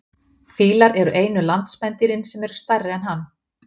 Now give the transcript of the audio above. Fílar eru einu landspendýrin sem eru stærri en hann.